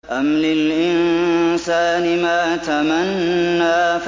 أَمْ لِلْإِنسَانِ مَا تَمَنَّىٰ